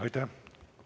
Aitäh!